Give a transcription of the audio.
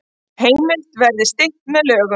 Heimild verði stytt með lögum